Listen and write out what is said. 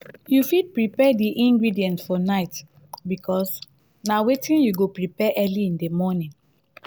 you fit prepare di ingredients for night because na wetin you go prepare early in di morning